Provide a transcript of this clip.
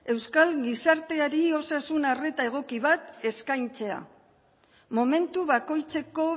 euskal gizarteari osasun arreta egoki bat eskaintzea momentu bakoitzeko